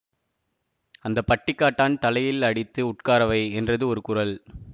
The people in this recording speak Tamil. அந்த பட்டிக்காட்டான் தலையில் அடித்து உட்காரவை என்றது ஒரு குரல்